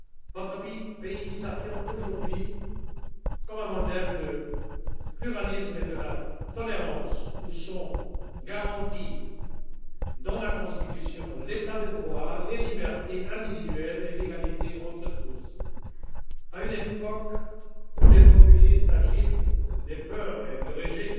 Votre pays s'affirme aujourd'hui comme un modèle de pluralisme et de tolérance où sont garantis dans la constitution l'état de droit, les libertés individuelles et l'égalité entre tous. À une époque où les populistes agitent les peurs et le rejet,